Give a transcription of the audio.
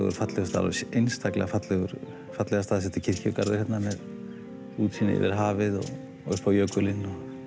fallegur staður og einstaklega fallega fallega staðsettur kirkjugarður hérna með útsýni yfir hafið og upp á jökulinn